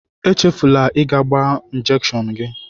Echefula ịga gbaa njekshọn gị!